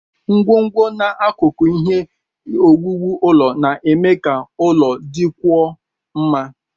Ngwongwo na akụkụ ihe owuwu ụlọ na-eme ka ụlọ dịkwuo mma.